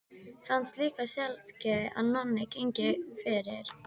Fannst líka sjálfgefið að Nonni gengi fyrir.